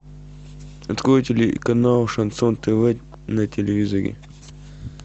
открой телеканал шансон тв на телевизоре